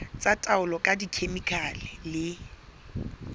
tsa taolo ka dikhemikhale le